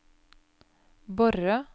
Borre